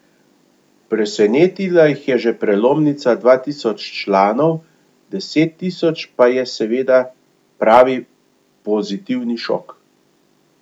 Presenetila jih je že prelomnica dva tisoč članov, deset tisoč pa je seveda pravi pozitivni šok.